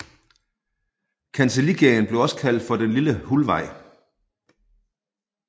Kancelligaden blev også kaldt for den Lille Hulvej